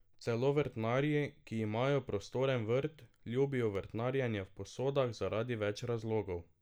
Celo vrtnarji, ki imajo prostoren vrt, ljubijo vrtnarjenje v posodah zaradi več razlogov.